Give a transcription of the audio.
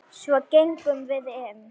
Svo gengum við inn.